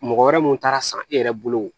Mɔgɔ wɛrɛ mun taara san e yɛrɛ bolo